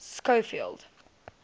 schofield